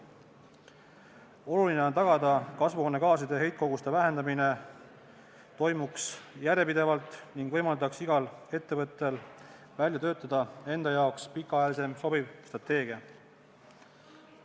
Oluline on tagada, et kasvuhoonegaaside heitkoguste vähendamine toimuks järjepidevalt ning võimaldaks igal ettevõttel välja töötada enda jaoks pikaajalisem sobiv strateegia.